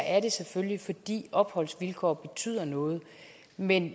er det selvfølgelig fordi opholdsvilkår betyder noget men